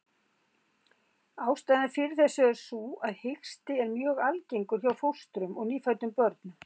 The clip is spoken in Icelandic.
Ástæðan fyrir þessu er sú að hiksti er mjög algengur hjá fóstrum og nýfæddum börnum.